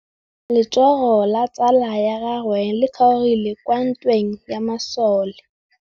Letsôgô la tsala ya gagwe le kgaogile kwa ntweng ya masole.